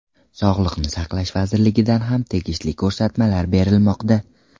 Sog‘liqni saqlash vazirligidan ham tegishli ko‘rsatmalar berilmoqda.